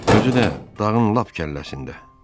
Özü də dağın lap kəlləsində.